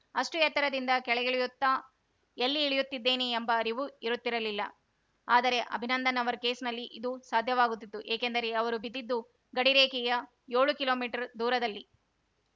ಅಷ್ಟುಎತ್ತರದಿಂದ ಕೆಳಗಿಳಿಯುತ್ತಾ ಎಲ್ಲಿ ಇಳಿಯುತ್ತಿದ್ದೇನೆ ಎಂಬ ಅರಿವು ಇರುತ್ತಿರಲಿಲ್ಲ ಆದರೆ ಅಭಿನಂದನ್‌ ಅವರ ಕೇಸ್‌ನಲ್ಲಿ ಇದು ಸಾಧ್ಯವಾಗುತ್ತಿತ್ತು ಏಕೆಂದರೆ ಅವರು ಬಿದ್ದದ್ದು ಗಡಿ ರೇಖೆಯ ಯೋಳು ಕಿಲೋಮೀಟರ್‌ ದೂರದಲ್ಲಿ